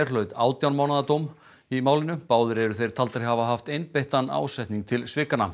hlaut átján mánaða dóm í málinu báðir eru þeir taldir hafa haft einbeittan ásetning til